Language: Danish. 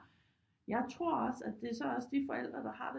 Jeg tror også at det er så også de forældre der har det